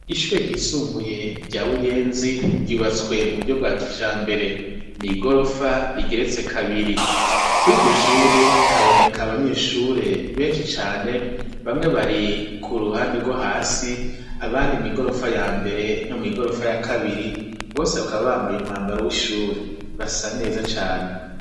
Ishure ryisumbuye rya buyenzi ryubatswe mu buryo bwa kija mbere ni'igorofa rigeretse kabiri kuri iryo shure haboneka abanyeshure benshi cane bamwe bari ku ruhande rwo hasi abandi mw'igorofa ya mbere no mw'igorofa ya kabiri bose bakaba bambaye umwambaro w'ishure rasa neza cane.